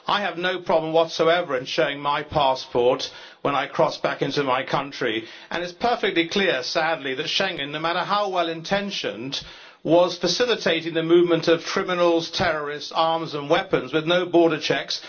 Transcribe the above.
I have no problem whatsoever in showing my passport when I cross back into my country. It is perfectly clear, sadly, that Schengen, no matter how well intentioned, was facilitating the movement of criminals, terrorists, arms and weapons, with no border checks.